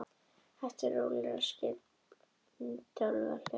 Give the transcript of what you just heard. Hægt og rólega rann upp fyrir honum ljós: Það verður ekkert skyndiáhlaup.